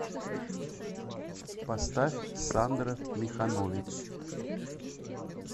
поставь сандра миханович